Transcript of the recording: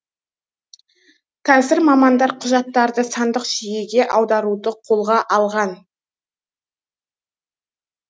қазір мамандар құжаттарды сандық жүйеге аударуды қолға алған